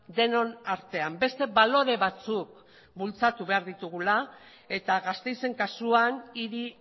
denon artean beste balore batzuk bultzatu behar ditugula eta gasteizen kasuan hiri